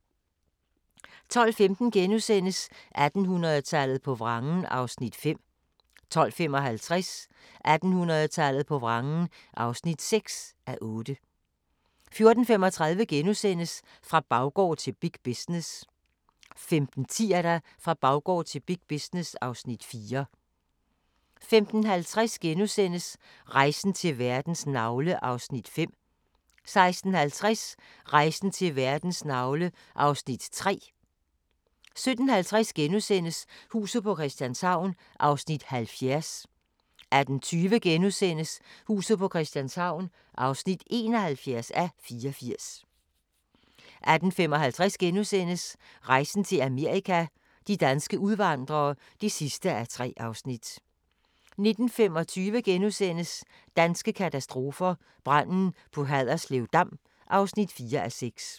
12:15: 1800-tallet på vrangen (5:8)* 12:55: 1800-tallet på vrangen (6:8) 14:35: Fra baggård til big business * 15:10: Fra baggård til big business (Afs. 4) 15:50: Rejsen til verdens navle (2:5)* 16:50: Rejsen til verdens navle (3:5) 17:50: Huset på Christianshavn (70:84)* 18:20: Huset på Christianshavn (71:84)* 18:55: Rejsen til Amerika – de danske udvandrere (3:3)* 19:25: Danske katastrofer – Branden på Haderslev Dam (4:6)*